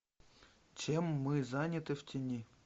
чем мы заняты в тени